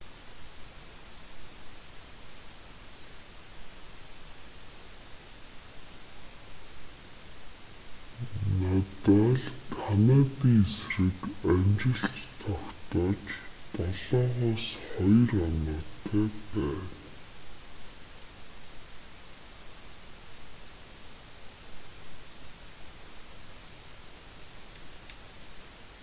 надаль канадын эсрэг амжилт тогтоож 7-2 оноотой байна